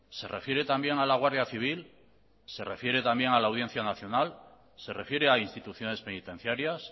se refiere también a la guardia civil se refiere también a la audiencia nacional se refiere a instituciones penitenciarias